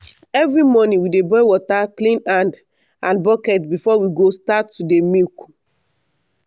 every morning we dey boil water clean hand and bucket before we go start to dey milk.